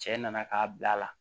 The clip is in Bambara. Cɛ nana k'a bila a la